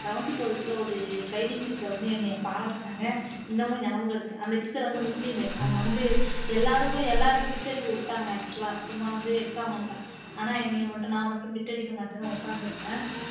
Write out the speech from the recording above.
eleventh twelfth ல ஒரு training teacher வந்து என்னைய பாராட்டுனாங்க இன்னமும் ஞாபகம் இருக்கு அந்த teacher வந்து முஸ்லீம் அவங்க வந்து எல்லாருக்கும் எல்லாரையும் bit அடிக்க விட்டாங்க actual ஆ சும்மா வந்து exam அப்ப ஆனா என்னைய மட்டும் நான் மட்டும் bit அடிக்க மாட்டேன்னு உட்கார்ந்திருந்தேன்